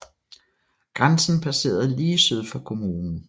Grænsen passerede lige syd for kommunen